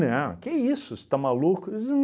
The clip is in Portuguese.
Não, que isso, você está maluco? Eu disse